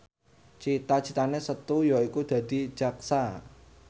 cita citane Setu yaiku dadi jaksa